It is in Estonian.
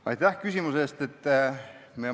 Aitäh küsimuse eest!